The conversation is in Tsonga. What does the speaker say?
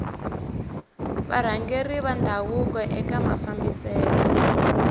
varhangeri va ndhavuko eka mafambiselo